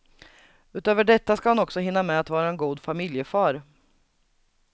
Utöver detta ska han också hinna med att vara en god familjefar.